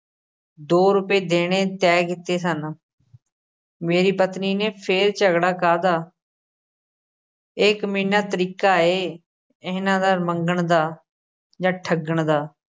ਦੋ ਰੁਪਏ ਦੇਣੇ ਤੈਅ ਕੀਤੇ ਸਨ ਮੇਰੀ ਪਤਨੀ ਨੇ ਫੇਰ ਝਗੜਾ ਕਾਹਦਾ ਇਹ ਕਮੀਨਾ ਤਰੀਕਾ ਏ ਇਹਨਾਂ ਦਾ ਮੰਗਣ ਦਾ ਜਾਂ ਠੱਗਣ ਦਾ।